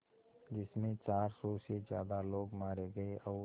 जिस में चार सौ से ज़्यादा लोग मारे गए और